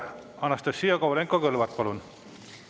Anastassia Kovalenko-Kõlvart, palun!